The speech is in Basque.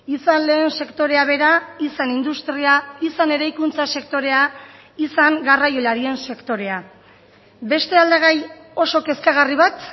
izan lehen sektorea bera izan industria izan eraikuntza sektorea izan garraiolarien sektorea beste aldagai oso kezkagarri bat